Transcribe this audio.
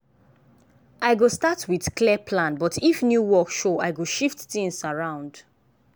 i go start with clear plan but if new work show i go shift things around.